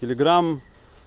телеграм